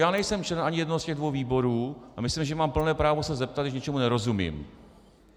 Já nejsem člen ani jednoho z těch dvou výborů a myslím, že mám plné právo se zeptat, když něčemu nerozumím.